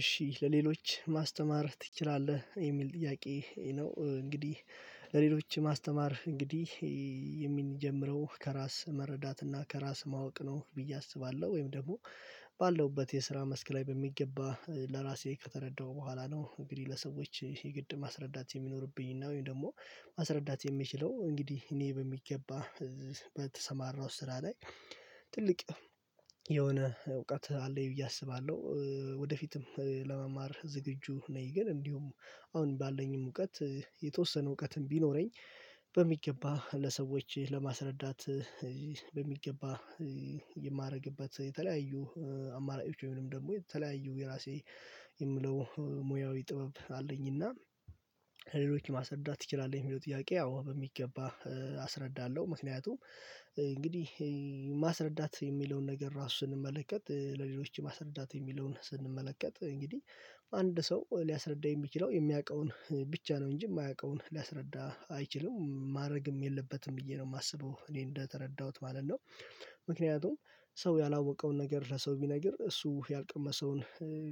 እሺ ለሌሎች ማስተማር ትችላለህ የሚል ጥያቄ ነው? እንግዲህ ለሌሎች ማስተማር እንግዲህ የሚጀምረው ከራስ መረዳት እና ከራስ ማወቅ ነው። ብዬ አስባለሁ ወይም ደግሞ ባለውበት የስራ መስክ ላይ በሚገባ ለራሴ ከተረዳሁ በኋላ ነው። እንግዲህ ለሰዎች የግድ ማስረዳት የሚኖርብኝና ወይም ደግሞ ማስረዳት የሚችለው እንግዲህ እኔ በሚገባ በተሰማራሁት ስራ ላይ ትልቅ የሆነ እውቀት አለኝ ብዬ አስባለሁ ወደፊትም ለመማር ዝግጁ ነኝ። ግን እንዲሁም አሁን ባለኝም እውቀት የተወሰነ እውቀትም ቢኖረኝ በሚገባ ለሰዎች ለማስረዳት በሚገባ የማደርግበት የተለያዩ አማራጮች ወይም ደግሞ የተለያዩ የራሴ የምለው ሙያዊ ጥበብ አለኝና ሌሎችን ማሰርዳት ትችላለህ የሚለው ጥያቄ አዎ በሚገባ አስረዳለሁ። ምክንያቱም እንግዲህ ማስረዳት የሚለውን ነገር ራሱን ስንመለከት ለሌሎች ማስረዳት የሚለውን ስንመለከት እንግዲህ አንድ ሰው ሊያስረዳኝ የሚችለው የሚያውቀውን ብቻ ነው እንጂ የማያውቀውን ሊያስረዳ አይችልም ማድረግም የለበትም ብዬ ነው የማስበው እኔ እንደተረዳሁት ማለት ነው። ምክንያቱም ሰው ያላወቀውን ነገር ለሰው ቢነግር እሱ ያልቀመሰውን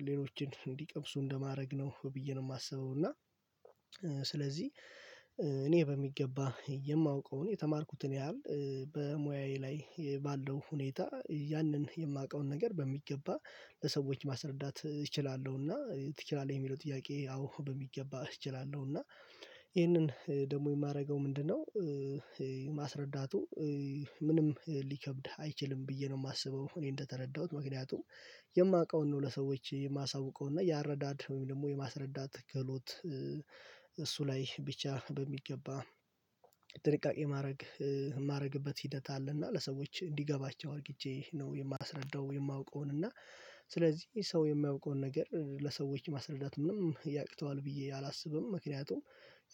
ሌሎችን እንዲቀምሱ እንደማድረግ ነው ብዬ ነው የማስበው እና ስለዚህ እኔ በሚገባ የማውቀውን የተማርኩትን ያህል በሙያዬ ላይ ባለው ሁኔታ ያንን የማውቀውን ነገር በሚገባ ለሰዎች ማስረዳት እችላለሁ። እና ትችላለህ የሚለው ጥያቄ አዎ በሚገባ እችላለሁ። እና ይሄንን ደግሞ የማደርገው ምንድነው? ማስረዳቱ ምንም ሊከብድ አይችልም ብዬ ነው የማስበው እኔ እንደተረዳሁት ምክንያቱም የማውቀውን ነው ለሰዎች የማሳውቀው እና የአረዳድ ወይም ደግሞ የማስረዳት ክህሎት እሱ ላይ ብቻ በሚገባ ጥንቃቄ ማድረግ የማደርግበት ሂደት አለና ለሰዎች እንዲገባቸው አድርግቼ ነው የማስረዳው። የማውቀውን እና ስለዚህ ሰው የሚያውቀውን ነገር ለሰዎች ማስረዳት ምንም ያቅተዋል ብዬ አላስብም ምክንያቱም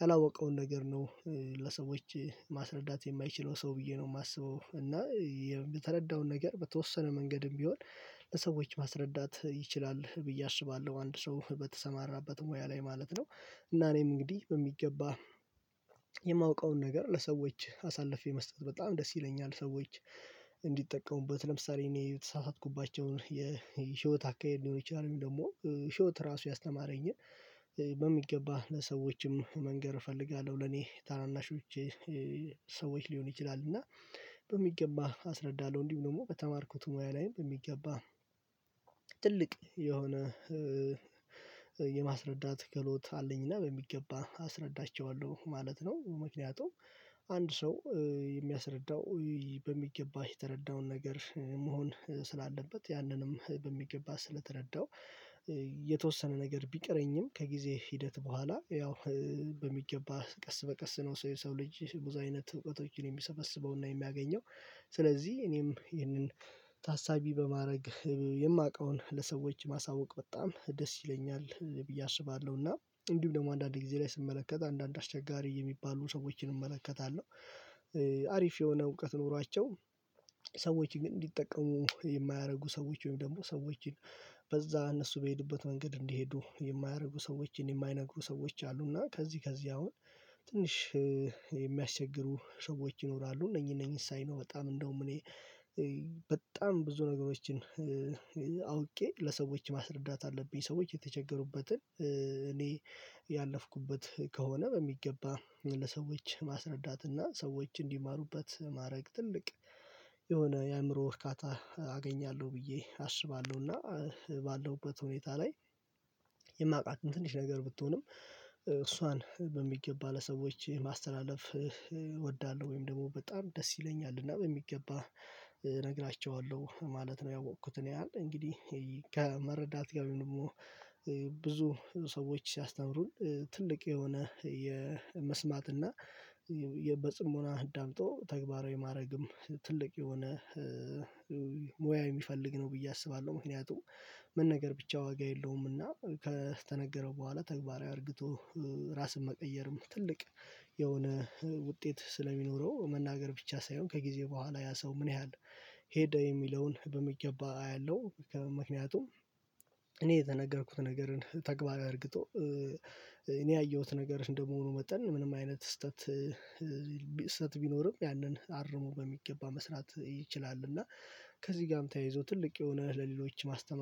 ያላወቀውን ነገር ነው ለሰዎች ማስረዳት የማይችለው ሰው ብዬ ነው የማስበው። እና የተረዳውን ነገር በተወሰነ መንገድም ቢሆን ለሰዎች ማስረዳት ይችላል ብዬ አስባለሁ አንድ ሰው በተሰማራበት ሙያ ላይ ማለት ነው። እና እኔም እንግዲህ በሚገባ የማውቀውን ነገር ለሰዎች አሳልፌ መስጠት በጣም ደስ ይለኛል። ሰዎች እንዲጠቀሙበት ለምሳሌ እኔ የተሳሳትኩባቸውን የህይወት አካሄድ ሊሆን ይችላል ወይም ደግሞ ህይወት ራሱ ያስተማረኝ በሚገባ ለሰዎችም መንገር እፈልጋለሁ ለኔ ታናናሾቼ ሰዎች ሊሆን ይችላል እና በሚገባ አስረዳለሁ። እንዲሁ ደግሞ በተማርኩት ሙያ ላይም በሚገባ ትልቅ የሆነ የማስረዳት ክህሎት አለኝና በሚገባ አስረዳቸዋለሁ ማለት ነው። ምክንያቱም አንድ ሰው የሚያስረዳው በሚገባ የተረዳውን ነገር መሆን ስላለበት ያንንም በሚገባ ስለተረዳው የተወሰነ ነገር ቢቀረኝም ከጊዜ ሂደት በኋላ ያው በሚገባ ቀስ በቀስ ነው ሰው የሰው ልጅ ብዙ አይነት እውቀቶችን የሚሰበስበውና የሚያገኘው። ስለዚህ እኔም ይህንን ታሳቢ በማድረግ የማውቀውን ለሰዎች ማሳወቅ በጣም ደስ ይለኛል ብዬ አስባለሁና እንዲሁም ደግሞ አንዳንድ ጊዜ ላይ ስመለከት አንዳንድ አስቸጋሪ የሚባሉን ሰዎችን እመለከታለሁ አሪፍ የሆነ እውቀት ኖሯቸው ሰዎችን እንዲጠቀሙ የማያደርጉ ሰዎች ወይም ደግሞ ሰዎችን በዛ እነሱ በሄዱበት መንገድ እንዲሄዱ የማያደርጉ ሰዎችን የማይነግሩ ሰዎች አሉና ከዚህ ከዚህ አሁን ትንሽ የሚያስቸግሩ ሰዎች ይኖራሉ። እነኚህ እነኚህን ሳይ ነው በጣም እንደውም እኔ በጣም ብዙ ነገሮችን አውቄ ለሰዎች ማስረዳት አለብኝ ሰዎች የተቸገሩበትን እኔ ያለፍኩበት ከሆነ በሚገባ ለሰዎች ማስረዳት እና ሰዎች እንዲማሩበት ማድረግ ትልቅ የሆነ የአእምሮ እካታ አገኛለሁ ብዬ አስባለሁና ባለውበት ሁኔታ ላይ የማውቃትም ትንሽ ነገር ብትሆንም እሷን በሚገባ ለሰዎች ማስተላለፍ እወዳለሁ። ወይም ደግሞ በጣም ደስ ይለኛል እና በሚገባ እነግራቸዋለሁ ማለት ነው። ያወቅኩትን ያህል እንግዲህ ከመረዳት ጋር ወይም ደግሞ ብዙ ሰዎች ሲያስተምሩኝ ትልቅ የሆነ የመስማት እና የ በጽሞና አዳምጦ ተግባራዊ ማድረግም ትልቅ የሆነ ሙያ የሚፈልግ ነው ብዬ አስባለሁ። ምክንያቱም መናገር ነገር ብቻ ዋጋ የለውምና ከተነገረው በኋላ ተግባራዊ አድርግቶ ራስን መቀየርም ትልቅ የሆነ ውጤት ስለሚኖረው መናገር ብቻ ሳይሆን ከጊዜ በኋላ ያ ሰው ምን ያህል ሄደ የሚለውን በሚገባ አያለሁ። ምክንያቱም እኔ የተናገርኩትን ነገርን ተግባር አድርግቶ እኔ ያየሁት ነገር እንደመሆኑ መጠን ምንም አይነት ስህተት ስህተት ቢኖርም ያንን አርሞ በሚገባ መስራት ይችላል። እና ከዚህ ጋርም ተያይዞ ትልቅ የሆነ ለሌሎች ማስተማር